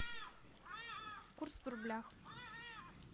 курс в рублях